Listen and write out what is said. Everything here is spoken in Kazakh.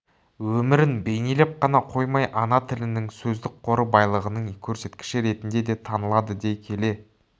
өмірін бейнелеп қана қоймай ана тілінің сөздік қоры байлығының көрсеткіші ретінде де танылады дей келе